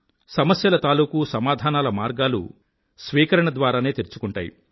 సమస్యల తాలూకూ సమాధానాల మార్గాలు స్వీకరణ ద్వారానే తెరుచుకుంటాయి